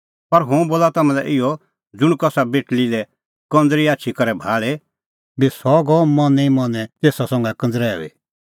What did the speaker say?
पर हुंह बोला तम्हां लै इहअ ज़ुंण बी कसा बेटल़ी लै कंज़री आछी करै भाल़े बी सह गअ मनैं ई मनैं तेसा संघै कंझ़रूई